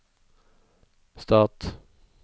stat